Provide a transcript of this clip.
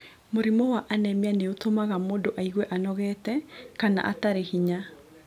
Mũrimũ wa anemia nĩ ũtũmaga mũndũ aigue anogete kana atarĩ hinya.